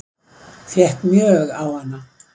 Fékk mjög á hana